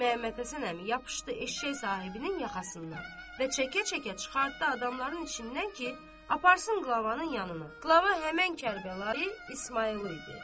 Məhəmmədhəsən əmi yapışdı eşşək sahibinin yaxasından və çəkə-çəkə çıxartdı adamların içindən ki, aparsın qlavanın yanına, qlava həmin Kərbəlayı İsmayıldı idi.